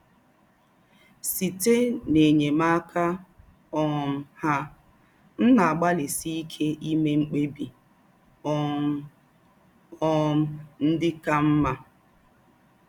Sītè n’ényémáká um hà, m na-àgbálísí íké ímè mkpèbì̀ um um ndị̀ kà mmà